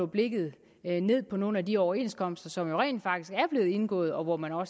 blikket mod nogle af de overenskomster som jo rent faktisk er blevet indgået og hvor man har